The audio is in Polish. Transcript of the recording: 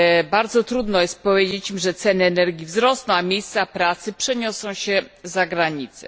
Bardzo trudno jest powiedzieć im, że ceny energii wzrosną, a miejsca pracy przeniosą się zagranicę.